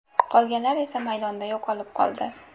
Qolganlar esa maydonda yo‘qolib qoldi.